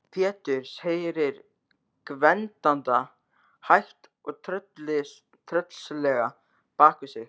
Péturs, heyrir Gvend anda hægt og tröllslega bak við sig.